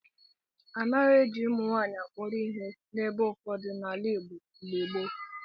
A naghị eji ụmụnwaanyị akpọrọ ihe n'ebe ụfọdụ n'ala Igbo mgbe gboo.